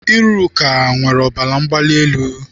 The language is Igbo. Iruka nwere ọbara mgbali elu.